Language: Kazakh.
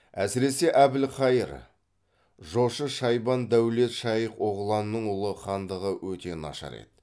әсіресе әбілхайыр жошы шайбан дәулет шайх оғланның ұлы хандығы өте нашар еді